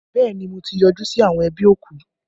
Bẹẹ ni, mo ti yọjú sí àwọn ẹbí òkú!